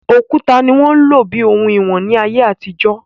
Òkúta ni wọ́n ń lò bíi òhun ìwọ̀n ní ayé àtijọ́